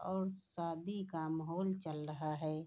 और शादी का माहोल चल रहा है।